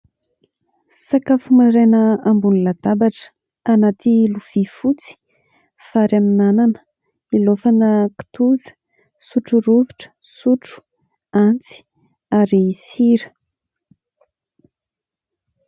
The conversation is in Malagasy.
Sakafo maraina ambony latabatra, anaty lovia fotsy. Vary amin'ny anana hilaofana kitoza. Sotro rovitra, sotro, antsy ary sira.